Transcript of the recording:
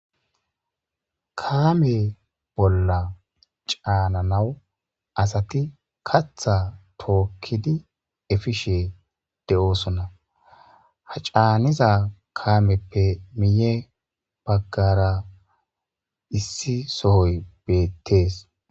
kaame bolla caananawu asati katha tookkidi efishe de7osona ha caaniza kaameppe miye baggara issi sooy bettees.